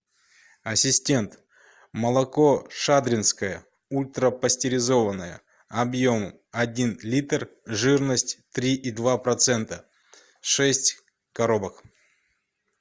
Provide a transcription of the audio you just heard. ассистент молоко шадринское ультрапастеризованное объем один литр жирность три и два процента шесть коробок